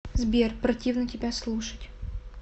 сбер противно тебя слушать